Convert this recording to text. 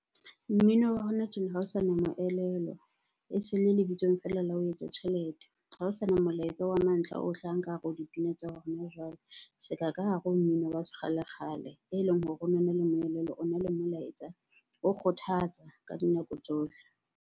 Mmino wa hona tjena ha o sana moelelo. E se le lebitsong feela la ho etsa tjhelete. Ha ho sana molaetsa wa mantlha o hlahang ka hare ho dipina tsa hona jwale seka ka hare ho mmino wa se kgalekgale eleng hore o nona le moelelo, o na le molaetsa, o kgothatsa ka dinako tsohle.